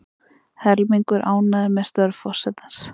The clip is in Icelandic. Helmingur ánægður með störf forsetans